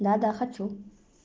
да да хочу